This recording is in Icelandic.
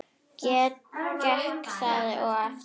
Gekk það og eftir.